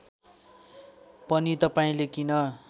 पनि तपाईँले किन